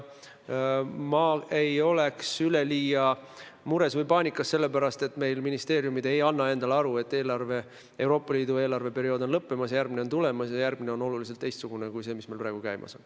Ma ei ole väga mures või paanikas selle pärast, et meie ministeeriumid ei anna endale aru, et Euroopa Liidu eelarveperiood on lõppemas ja järgmine on tulemas ja järgmine on oluliselt teistsugune kui see, mis meil praegu käimas on.